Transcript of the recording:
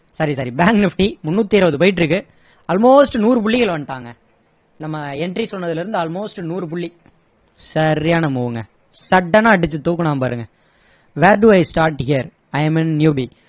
sorry sorry bank nifty மூண்ணூத்தி இருவது போயிட்டு இருக்கு almost நூறு புள்ளிகள் வந்துட்டாங்க நம்ம entry சொன்னதுல இருந்து almost நூறு புள்ளி சரியான move ங்க sudden னா அடிச்சி தூக்குனான் பாருங்க where do i start here i am a new bee